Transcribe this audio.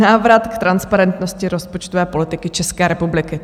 Návrat k transparentnosti rozpočtové politiky České republiky.